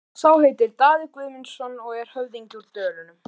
Sá heitir Daði Guðmundsson og er höfðingi úr Dölunum.